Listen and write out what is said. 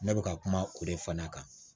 Ne bɛ ka kuma o de fana kan